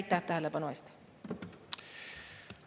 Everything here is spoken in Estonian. Aitäh tähelepanu eest!